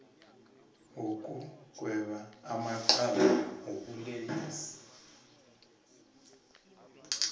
wokugweba amacala wobulelesi